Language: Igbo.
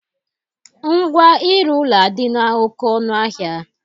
Ngwa ịrụ ụlọ adịla oke ọnụahịa